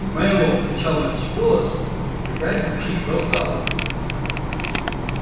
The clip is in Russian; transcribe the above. мэллоу кричал во весь голос пытаясь заглушить рёв зала